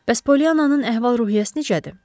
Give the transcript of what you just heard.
Bəs Poliannanın əhval-ruhiyyəsi necədir?